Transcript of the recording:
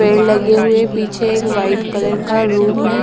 पेड़ लगे हुए पीछे। एक व्हाईट कलर का रूम है।